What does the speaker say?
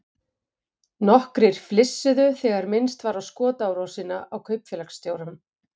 Nokkrir flissuðu þegar minnst var á skotárásina á kaupfélagsstjórann.